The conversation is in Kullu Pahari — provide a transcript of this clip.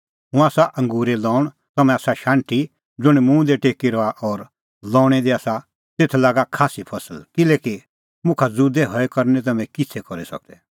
हुंह आसा अंगूरे लऊंण तम्हैं आसा शाण्हटी ज़ुंण मुंह दी टेकी रहा और लऊंणी दी आसा तेथ लागा खास्सी फसल किल्हैकि मुखा ज़ुदै हई करै निं तम्हैं किछ़ै करी सकदै